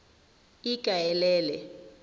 ikaelele